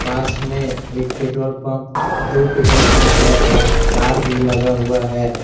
पास में एक petrol pump दो पेट्रोल पंप है और कार भी लगा हुआ है।